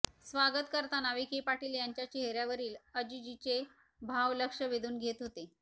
स्वागत करताना विखे पाटील यांच्या चेहऱ्यावरील अजिजीचे भाव लक्ष वेधून घेत होते